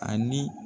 Ani